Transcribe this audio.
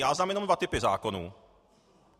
Já znám jenom dva typy zákonů.